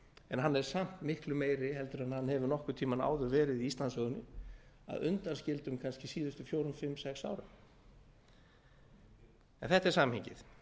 en hann er samt miklu meiri heldur en hann hefur nokkurn tíma áður verið í íslandssögunni að undanskildum kannski síðustu fjögur fimm sex árum en þetta er samhengið